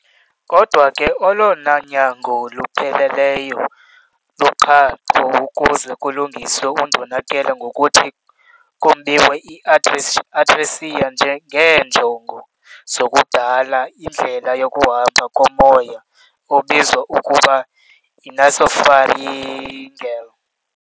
Kodwa ke olona nyango lupheleleyo luqhaqho ukuze kulungiswe undonakele ngokuthi kombiwe i-atresia ngeenjongo zokudala indlela yokuhamba komoya obizwa ngokuba yi-nasopharyngeal.